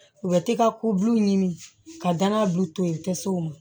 U bɛ t'i ka ko buluw ɲini ka danaya bi to yen u tɛ s'o ma